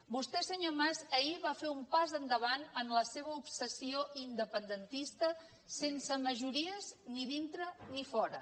vostè senyor mas ahir va fer un pas endavant en la seva obsessió independentista sense majories ni dintre ni fora